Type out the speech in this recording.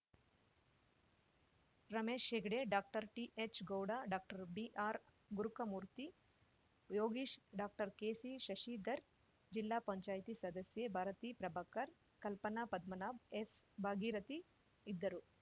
Ramesh Hegde doctor T H Gowda doctor B R Gurukamurthy Yogish doctor K C Shashidhar ಜಿಲ್ಲಾ ಪಂಚಾಯ್ತಿ ಸದಸ್ಯೆ Bharathi Prabhakar Kalpana Padmanabh S Bhagirathi ಇದ್ದರು